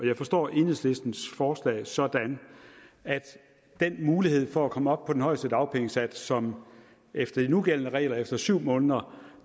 jeg forstår enhedslistens forslag sådan at den mulighed for at komme op på den højeste dagpengesats som efter de nugældende regler er efter syv måneder